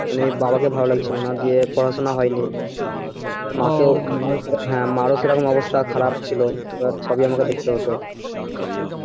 মানে বাবাকে ভালো লাগছিল না, দিয়ে পড়াশোনা হয়নি এবার মাকে মার ও সেরকম অবস্থা খারাপ ছিল এবার সবই আমাকে দেখতে হতো